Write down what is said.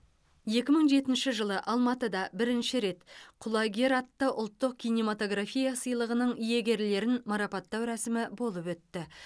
екі мың жетінші жылы алматыда бірінші рет құлагер атты ұлттық кинематография сыйлығының иегерлерін марапаттау рәсімі болып өтті